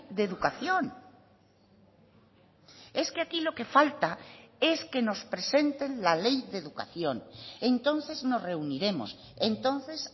de educación es que aquí lo que falta es que nos presenten la ley de educación entonces nos reuniremos entonces